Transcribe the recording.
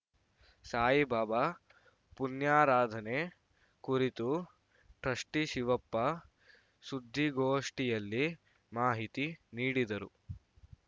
ಸಾಯಿಬಾಬಾ ಪುಣ್ಯಾರಾಧನೆ ಕುರಿತು ಟ್ರಸ್ಟಿಶಿವಪ್ಪ ಸುದ್ದಿಗೋಷ್ಠಿಯಲ್ಲಿ ಮಾಹಿತಿ ನೀಡಿದರು